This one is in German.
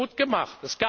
Sie haben das gut